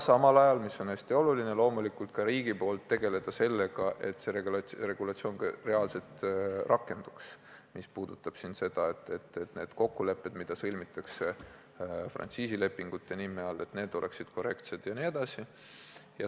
Ja mis veel on hästi oluline: loomulikult peab ka riik tegelema sellega, et see regulatsioon reaalselt rakenduks, et need kokkulepped, mis sõlmitakse frantsiisilepingutena, oleksid korrektsed, jne.